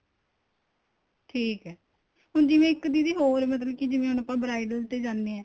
ਠੀਕ ਏ ਹੁਣ ਜਿਵੇਂ ਇੱਕ ਦੀਦੀ ਹੋਰ ਮਤਲਬ ਕੀ ਜਿਵੇਂ ਹੁਣ ਆਪਾਂ bridal ਤੇ ਜਾਣੇ ਆ